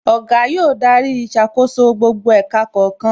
Oga yóò darí ìṣàkóso gbogbo ẹ̀ka kọ̀ọ̀kan